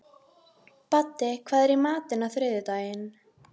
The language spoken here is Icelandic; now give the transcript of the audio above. Baddi, hvað er í matinn á þriðjudaginn?